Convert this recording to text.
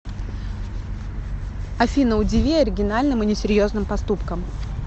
афина удиви оригинальным и несерьезным поступком